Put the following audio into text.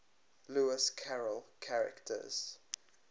lewis carroll characters